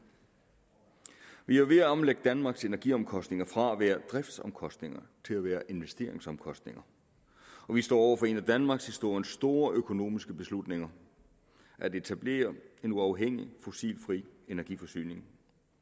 vi er ved at omlægge danmarks energiomkostninger fra at være driftsomkostninger til at være investeringsomkostninger og vi står over for en af danmarkshistoriens store økonomiske beslutninger at etablere en uafhængig fossilfri energiforsyning